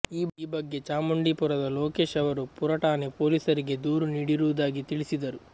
ಈ ಬಗ್ಗೆ ಚಾಮುಂಡಿಪುರದ ಲೋಕೇಶ್ ಅವರು ಪುರ ಠಾಣೆ ಪೊಲೀಸರಿಗೆ ದೂರು ನೀಡಿರುವುದಾಗಿ ತಿಳಿಸಿದರು